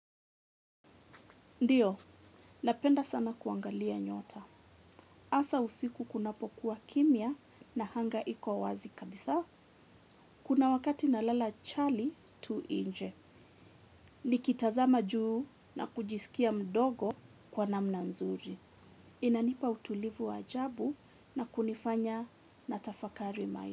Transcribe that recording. Ndiyo, napenda sana kuangalia nyota. Asa usiku kunapokuwa kimya na anga iko wazi kabisa. Kuna wakati na lala chali tu nje. Nikitazama juu na kujisikia mdogo kwa namna nzuri. Inanipa utulivu wa ajabu na kunifanya natafakari maisha.